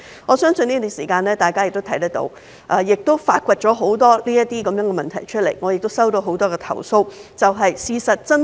我相信大家在這段時間也發現很多這樣的問題，而我亦曾接獲很多相關投訴。